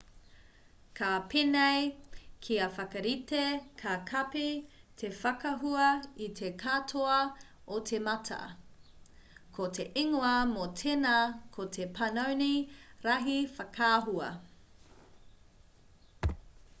ka pēnei kia whakarite ka kapi te whakaahua i te katoa o te mata ko te ingoa mō tēnā ko te panoni rahi whakaahua